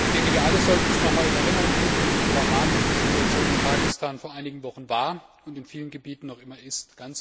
Ich denke, wir alle sollten uns noch einmal in Erinnerung rufen, wie dramatisch die Situation in Pakistan vor einigen Wochen war und in vielen Gebieten noch immer ist.